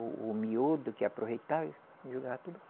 O o miúdo que aproveitava, jogava tudo